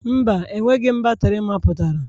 Mba, enweghị m batrị mapụtara.